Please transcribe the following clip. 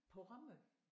På Rømø?